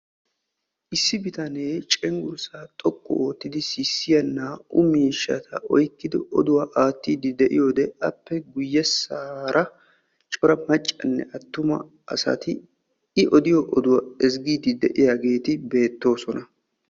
Issi bitanee cenggurssaa xoqqu oottidi sissiya naa''u miishshata oyqqidi oduwa aattiiddi de'iyode appe guyyesaara cora maccanne attuma asati i odiyo oduwa ezggiiddi de'iyageeti beettoosona.